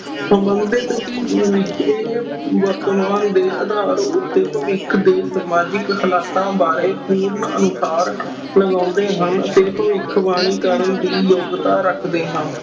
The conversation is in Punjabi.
ਸੰਬੰਧਿਤ ਵਰਤਮਾਨ ਦੇ ਆਧਾਰ ਉੱਤੇ ਭਵਿੱਖ ਦੇ ਸਮਾਜਿਕ ਹਾਲਾਤਾਂ ਬਾਰੇ ਪੂਰਨ ਅਨੁਸਾਰ ਲਗਾਉਂਦੇ ਹਨ ਅਤੇ ਭਵਿੱਖਬਾਣੀ ਕਰਨ ਦੀ ਯੋਗਤਾ ਰੱਖਦੇ ਹਾਂ।